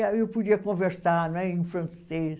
eu podia conversar não é em francês.